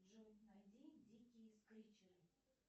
джой найди дикие скричеры